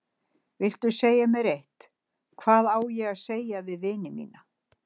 Viltu segja mér eitt: hvað á ég að segja við vini mína.